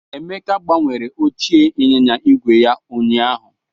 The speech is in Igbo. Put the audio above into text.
Emeka gbanwere oche anyịnya igwe ya ụnyaahụ.